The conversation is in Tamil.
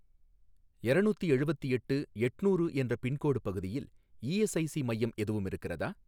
எரநூத்தி எழுவத்தெட்டு எட்நூறு என்ற பின்கோடு பகுதியில் இஎஸ்ஐஸி மையம் எதுவும் இருக்கிறதா?